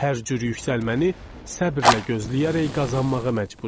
Hər cür yüksəlməni səbrlə gözləyərək qazanmağa məcbur idik.